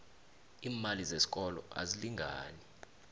iimali zesikolo azilingani